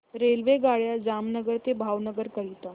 रेल्वेगाड्या जामनगर ते भावनगर करीता